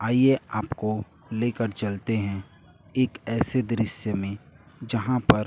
आईए आपको लेकर चलते हैं एक ऐसे दृश्य में जहां पर--